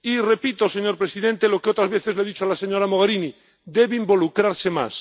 Y, repito, señor presidente, lo que otras veces le he dicho a la señora Mogherini debe involucrarse más.